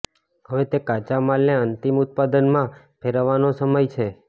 હવે તે કાચા માલને અંતિમ ઉત્પાદનમાં ફેરવવાનો સમય છે